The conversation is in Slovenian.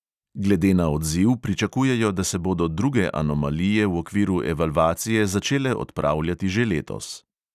Glede na odziv pričakujejo, da se bodo druge anomalije v okviru evalvacije začele odpravljati že letos.